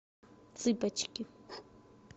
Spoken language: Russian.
цыпочки